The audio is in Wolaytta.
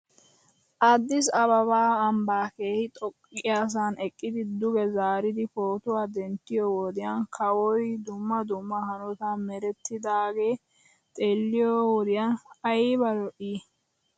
Addis ababa ambbaa keehi xoqqiyaasan eqqid duge zaaridi pootuwa denttiyoo wodiyan kawoy dumma dumma hanotan merettidaagee xeeliyoo wodiyan ayba lo'ii